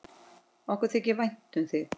Okkur þykir vænt um þig.